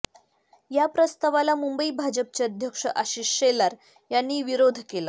या प्रस्तावाला मुंबई भाजपचे अध्यक्ष आशिष शेलार यांनी विरोध केला